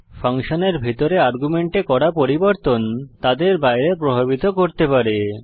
ফাংশনের ভিতরে আর্গুমেন্টে করা পরিবর্তন তাদের বাইরে প্রভাবিত করতে পারে